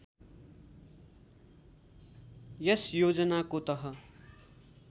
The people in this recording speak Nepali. यस योजनाको तह